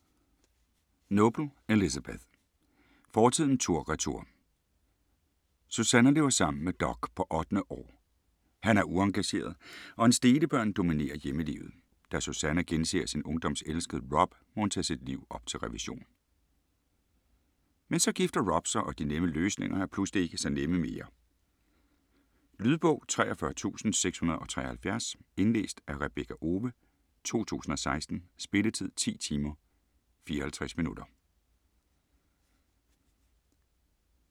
Noble, Elizabeth: Fortiden tur/retur Susannah lever sammen med Doug på 8. år. Han er uengageret, og hans delebørn dominerer hjemmelivet. Da Susannah genser sin ungdoms elskede, Rob, må hun tage sit liv op til revision. Men så gifter Rob sig, og de nemme løsninger er pludselig ikke så nemme mere. Lydbog 43673 Indlæst af Rebekka Owe, 2016. Spilletid: 10 timer, 54 minutter.